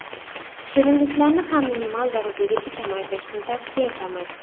Shirinliklarni ham minimal darajagacha kamaytirishni tavsiya etamiz.